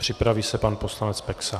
Připraví se pan poslanec Peksa.